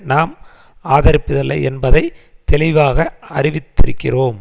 நாம் ஆதரிப்பதில்லை என்பதை தெளிவாக அறிவித்திருக்கிறோம்